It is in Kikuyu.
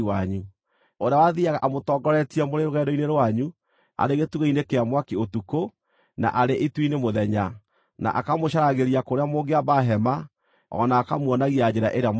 ũrĩa wathiiaga amũtongoretie mũrĩ rũgendo-inĩ rwanyu arĩ gĩtugĩ-inĩ kĩa mwaki ũtukũ, na arĩ itu-inĩ mũthenya, na akamũcaragĩria kũrĩa mũngĩamba hema o na akamuonagia njĩra ĩrĩa mũkũgera.